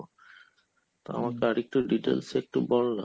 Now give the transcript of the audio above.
তো আমাকে আরেকটু details একটু বল না